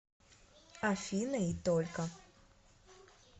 афина и только